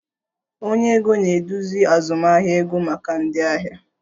Onye ego na-eduzi azụmahịa ego maka ndị ahịa